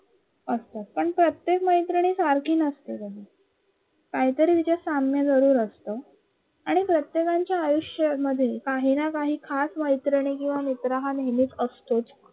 असतात. पण प्रतेक मैत्रिणी सारख्या नसतात काहीतरी साम्य जरूर असत आणि प्रत्येकाच्या आयुष्यामध्ये ना काही खास मैत्रिणी किवा मित्र हा नेहमीच असतंच